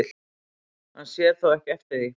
Hann sér þó ekki eftir því